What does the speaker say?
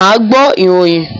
Ma gbọ́ ìròyìn